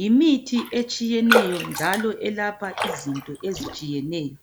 Yimithi etshiyeneyo njalo elapha izinto ezitshiyeneyo